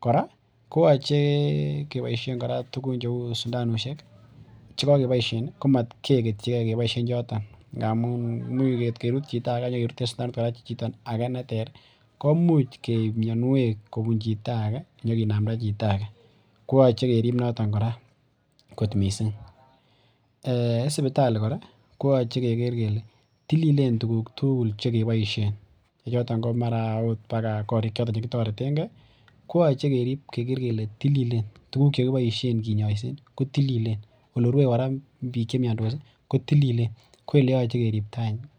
kora koyoche keboisien tugun cheuu sindanosiek ih , chekakeboisien komat kegetige keboisien choton, ngamuun atkerut chito ake akenyakeruten kora chito nekikeboisien ake neter komuch keib mianiuek kobun chito ake inya kinamnda chito age. Koyache kerib noton kora kot missing. En sipitali kora koyache keker kele tililen tuguk tugul chekiboisien che choto ko mara akot korik choton chekitoreten ke koyache kerib keker kele tililen olerue kora bik che miandos ko tililen. Koyache keribta.